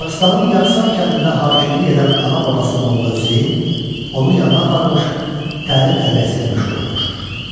Dağıstanın Yaksay kəndində hakimlik edən ana babası Molla Hüseyn onun yanına aparmış, təlim-tərbiyəsi ilə məşğul olmuşdur.